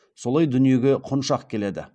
солай дүниеге құншақ келеді